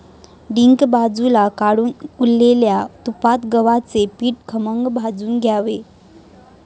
डिंक बाजूला काढून उरलेल्या तुपात गव्हाचे पीठ खमंग भाजून घ्यावे.